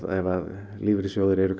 ef lífeyrissjóðir eru